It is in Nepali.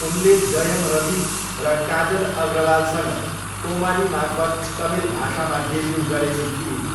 उनले जयम रवि र काजल अग्रवालसँग कोमालीमार्फत तमिल भाषामा डेब्यु गरेकी थिइन्।